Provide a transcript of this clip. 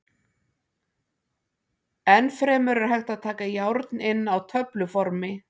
Enn fremur er hægt að taka járn inn á töfluformi.